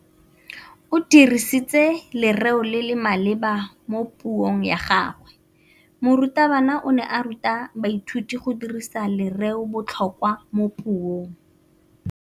O dirisitse lerêo le le maleba mo puông ya gagwe. Morutabana o ne a ruta baithuti go dirisa lêrêôbotlhôkwa mo puong.